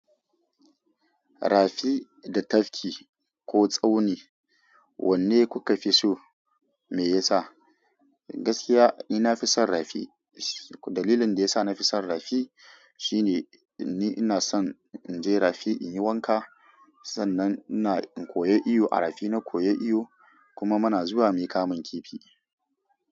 Rafi da tafki ko tsauni, wanne kuka fi so? Me yasa? Gaskiya ina fi son rafi. Dalilin da ya sa na fi son rafi shine ni ina son in je rafi in yi wanka, sannan ina in koyi iyo a rafi. Na koyi iyo kuma muna zuwa mu yi kamun kifi.